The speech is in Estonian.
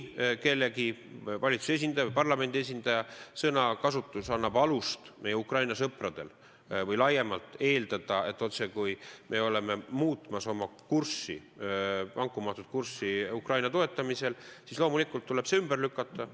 Kui valitsuse või parlamendi mõne esindaja sõnakasutus annab meie Ukraina sõpradele või laiemalt alust eeldada, et me otsekui oleme muutmas oma vankumatut kurssi Ukraina toetamisel, siis loomulikult tuleb see ümber lükata.